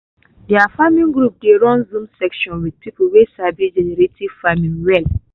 their farming group dey run zoom sessions with people wey sabi regenerative farming well.